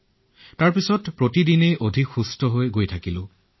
ইয়াৰ পিছত দিনে দিনে উন্নতিৰ ফালে আহিলো